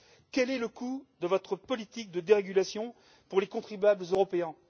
Quel est le coût de votre politique de dérégulation pour les contribuables européens?